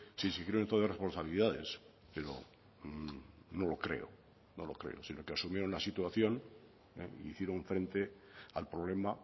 si exigieron entonces responsabilidades pero no lo creo no lo creo sino que asumieron la situación hicieron frente al problema